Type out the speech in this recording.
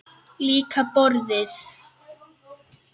Líka borðið.